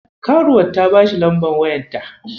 Karuwar ta bashi lambar wayarta.